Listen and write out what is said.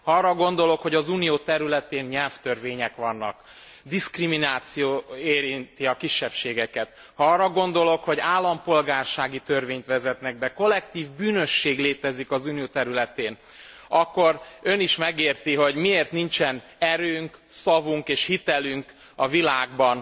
Ha arra gondolok, hogy az Unió területén nyelvtörvények vannak, diszkrimináció érinti a kisebbségeket, ha arra gondolok, hogy állampolgársági törvényt vezetnek be, kollektív bűnösség létezik az Unió területén, akkor Ön is megérti, hogy miért nincsen erőnk, szavunk és hitelünk a világban,